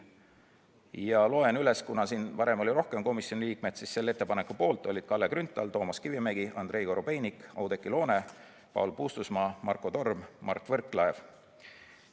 Ja kuna siin varem oli rohkem komisjoni liikmeid, siis loen ette, et selle ettepaneku poolt olid Kalle Grünthal, Toomas Kivimägi, Andrei Korobeinik, Oudekki Loone, Paul Puustusmaa, Marko Torm ja Mart Võrklaev.